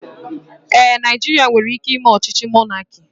Ee, Naijiria nwere ike ime ọchịchị mọnaki